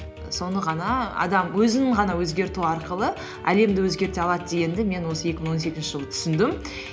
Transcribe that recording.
соны ғана адам өзін ғана өзгерту арқылы әлемді өзгерте алады дегенді мен осы екі мың он сегізінші жылы түсіндім